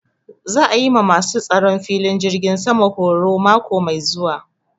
Za a yi ma ma su tsaron filin jirgin sama horo mako mai zuwa